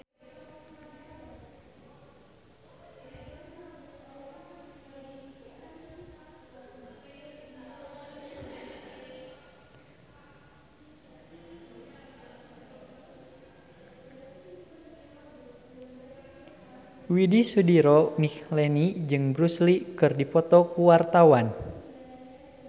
Widy Soediro Nichlany jeung Bruce Lee keur dipoto ku wartawan